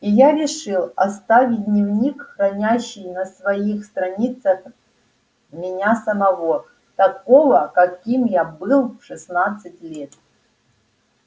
и я решил оставить дневник хранящий на своих страницах меня самого такого каким я был в шестнадцать лет